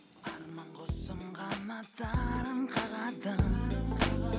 арман құсым қанаттарын қағады